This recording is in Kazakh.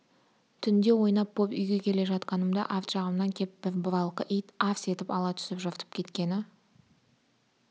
түнде ойнап боп үйге келе жатқанымда арт жағымнан кеп бір бұралқы ит арс етіп ала түсіп жыртып кеткені